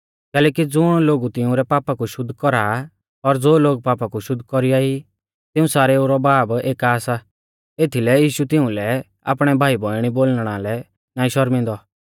कैलैकि ज़ुण लोगु तिउंरै पापा कु शुद्ध कौरा आ और ज़ो लोग पापा कु शुद्ध कौरीया ई तिऊं सारेऊ रौ बाब एका सा एथीलै यीशु तिउंलै आपणै भाईबौइणी बोलणा लै नाईं शौरमिंदौ